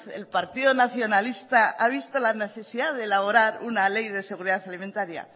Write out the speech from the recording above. el partido nacionalista ha visto la necesidad de elaborar una ley de seguridad alimentaría